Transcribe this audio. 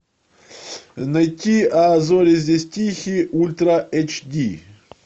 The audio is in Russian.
найти а зори здесь тихие ультра эйч ди